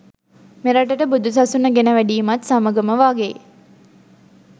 මෙරටට බුදු සසුන ගෙන වැඩීමත් සමඟම වාගේ